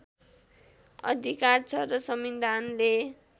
अधिकार छ र संविधानले